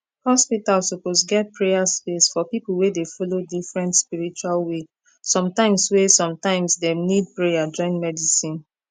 hospital suppose get prayer space for people wey dey follow different spiritual way sometimes way sometimes dem need prayer join medicine